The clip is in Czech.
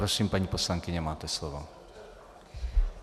Prosím, paní poslankyně, máte slovo.